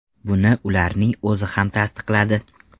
Buni ularning o‘zi ham tasdiqladi.